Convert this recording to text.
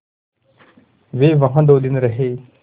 वे वहाँ दो दिन रहे